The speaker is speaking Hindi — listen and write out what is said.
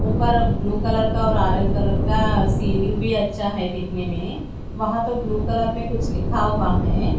ऊपर ब्लू कलर का और अरेंज कलर का सीलिंग भी अच्छा है दिखने में वहां तो ब्लू कलर में कुछ लिखा हुआ है।